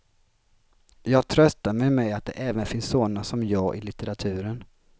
Jag tröstar mig med att det även finns såna som jag i litteraturen.